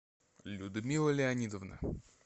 людмила леонидовна